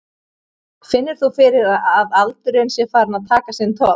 Finnur þú fyrir að aldurinn sé farinn að taka sinn toll?